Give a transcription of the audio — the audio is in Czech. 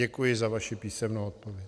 Děkuji za vaši písemnou odpověď.